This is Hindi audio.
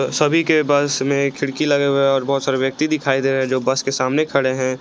सभी के बस में खिड़की लगे हुए हैं और बहोत सारे व्यक्ति दिखाई दे रहे हैं जो बस के सामने खड़े हैं।